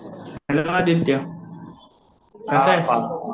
Hello Aditya कसा आहेस?